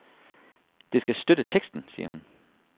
Det skal støtte teksten, siger hun.